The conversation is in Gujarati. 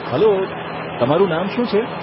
હલ્લો, તમારું શું નામ છે?